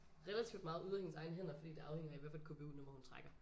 Relativt meget ude af hendes egne hænder fordi det afhænger af hvad for et KBU nummer hun trækker